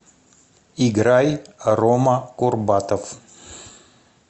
играй рома курбатов